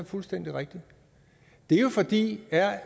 fuldstændig rigtig det er jo fordi